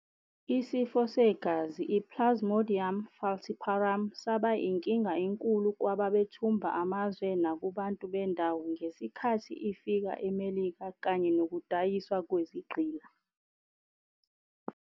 isifo segazi i-Plasmodium falciparum saba inkinga enkulu kwababethumba amazwe nakubantu bendawo ngesikhathi ifika eMelika kanye nokudayiswa kwezigqila.